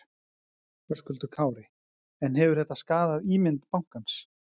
Höskuldur Kári: En hefur þetta skaðað ímynd bankans?